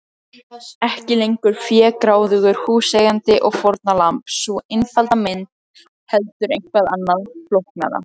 Ekki lengur fégráðugur húseigandi og fórnarlamb, sú einfalda mynd, heldur eitthvað annað, flóknara.